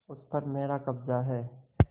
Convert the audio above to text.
उस पर मेरा कब्जा है